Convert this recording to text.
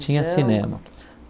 Tinha cinema.